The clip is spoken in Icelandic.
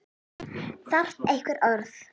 Þarf einhver orð?